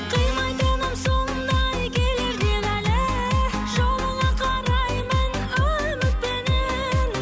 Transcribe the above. қимайтыным сондай келер деп әлі жолыңа қараймын үмітпенен